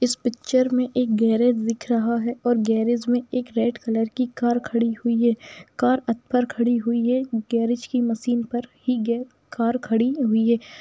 इस पिक्चर में एक गेरेज दिख रहा है और गेरेज में एक रेड कलर की कार खड़ी हुई है| कार अंदर खड़ी हुई है गैरेज की मशीन पर ही गे कार खड़ी हुई है।